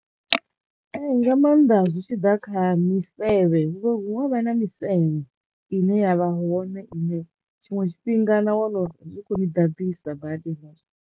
Ee nga maanḓa zwi tshi ḓa kha misevhe hu vho hu vho vha na misevhe ine yavha hone ine tshiṅwe tshifhinga na wana uri i kho ni ḓanḓisa badi .